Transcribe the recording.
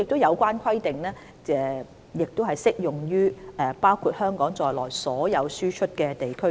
有關規定，亦適用於包括香港在內的所有輸出地區。